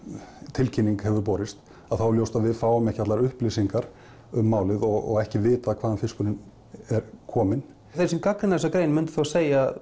tilkynning hefur borist að þá er ljóst að við fáum ekki allar upplýsingar um málið og ekki vitað hvaðan fiskurinn er kominn þeir sem gagnrýna þessa grein myndu segja